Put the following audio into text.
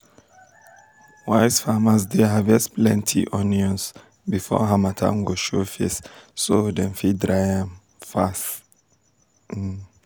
wise farmers dey harvest plenty onions um before harmattan go show face so dem fit dry am um fast um